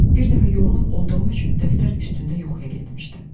Bir dəfə yorğun olduğum üçün dəftər üstündə yuxuya getmişdim.